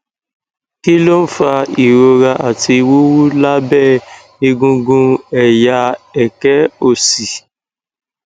kí ló ń fa ìrora àti wuwu lábẹ egungun ẹyà eke òsì